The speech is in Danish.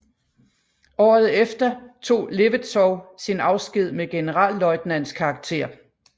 Året efter tog Levetzow sin afsked med generalløjtnants karakter